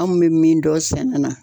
Anw bɛ min dɔn sɛnɛ na